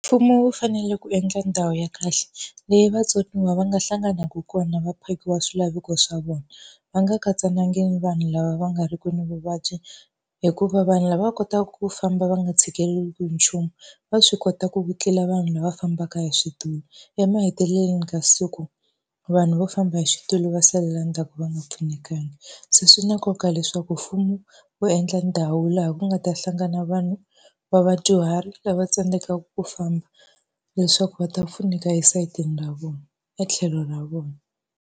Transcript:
Mfumo wu fanele ku endla ndhawu ya kahle leyi vatsoniwa va nga hlanganaka kona va phakiwa swilaveko swa vona, va nga katsananga ni vanhu lava va nga ri kwini vuvabyi. Hikuva vanhu lava va kotaka ku famba va nga tshikeleriwi hi nchumu va swi kota ku ku tlula vanhu lava fambaka hi switulu, emahetelelweni ka siku vanhu vo famba hi switulu va salela ndzhaku va nga pfunekanga. Se swi na nkoka leswaku mfumo wu endla ndhawu laha ku nga ta hlangana na vanhu va vadyuhari lava tsandzekaka ku famba, leswaku va ta pfuneka esayitini ra vona, e tlhelo ra vona.